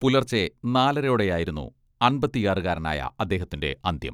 പുലർച്ചെ നാലരയോടെയായിരുന്നു അമ്പത്തിയാറുകാരനായ അദ്ദേഹത്തിന്റെ അന്ത്യം.